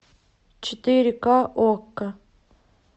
четыре ка окко